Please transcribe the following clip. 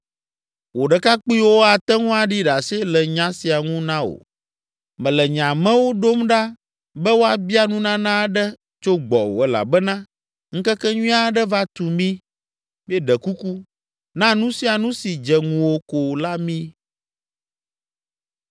Wò ɖekakpuiwo ate ŋu aɖi ɖase le nya sia ŋu na wò. Mele nye amewo ɖom ɖa be woabia nunana aɖe tso gbɔwò elabena ŋkekenyui aɖe va tu mí. Míeɖe kuku, na nu sia nu si dze ŋuwò ko la mí.”